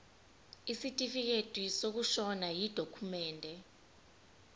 isitifikedi sokushona yidokhumende